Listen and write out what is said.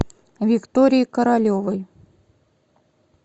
викторией королевой